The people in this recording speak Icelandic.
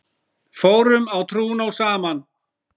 Fórum á trúnó saman.